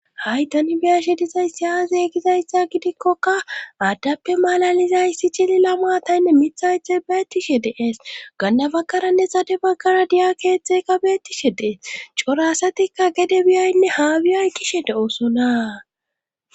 haydan biyashe dizay siya zeeygizayssa gidikkoka aaddappe malalizay si cili la mataynne mithaythe beettishe deees gannabaggaranne sade baggara diya keethtzekka beettishe dees corasatikka gede biyaynne haabiyay kishe de7oosonaa